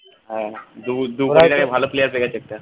হ্যাঁ দু ভালো player রেখেছে একটা